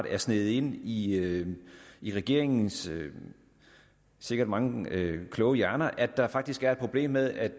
er sivet ind i ind i regeringens sikkert mange kloge hjerner at der faktisk er et problem med at